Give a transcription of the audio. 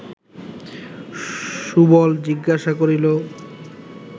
সুবল জিজ্ঞাসা করিল